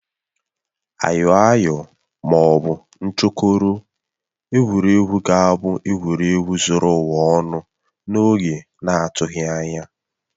Ayoayo ma ọ bụ nchokoro, egwuregwu ga-abụ egwuregwu zuru ụwa ọnụ n'oge na-adịghị anya